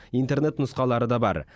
интернет нұсқалары да бар